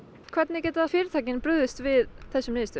hvernig geta fyrirtækin brugðist við þessari niðurstöðu